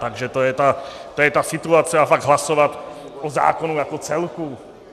Takže to je ta situace, a pak hlasovat o zákonu jako celku.